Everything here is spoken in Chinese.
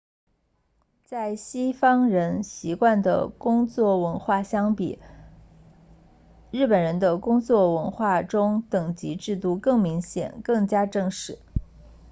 与西方人习惯的工作文化相比日本人的工作文化中等级制度更明显更加正式